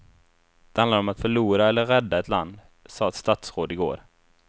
Det handlar om att förlora eller att rädda ett land, sa ett statsråd i går.